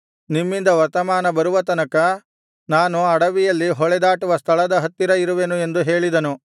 ನಿಮ್ಮಿಂದ ವರ್ತಮಾನ ಬರುವ ತನಕ ನಾನು ಅಡವಿಯಲ್ಲಿ ಹೊಳೆದಾಟುವ ಸ್ಥಳದ ಹತ್ತಿರ ಇರುವೆನು ಎಂದು ಹೇಳಿದನು